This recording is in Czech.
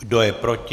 Kdo je proti?